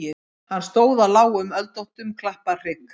Hann stóð á lágum öldóttum klapparhrygg.